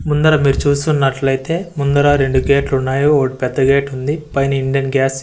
ముందర మీరు చూస్తున్నట్లయితే ముందర రెండు గేట్లున్నాయో ఒకటి పెద్ద గేటు ఉంది పైన ఇండియన్ గ్యాస్ --